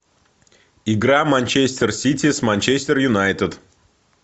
игра манчестер сити с манчестер юнайтед